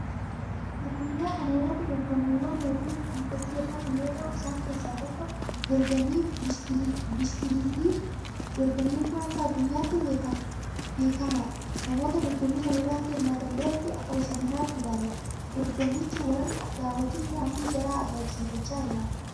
Addunyaa kana irratti dorgommiiwwan hedduun kan gaggeeffamu yoota'u; isaan keessaa tokko dorgommii Bishkiliitiiti. Dorgommiin kun akka addunyaatti beemamaadha. Namoota dorgommii kana irratti hirmaatan biratti akka bashannanaattis ilaalamaa dorgomama. Warri daawwatus dandeettii jaraa ajaa'ibsiifachaa ilaala.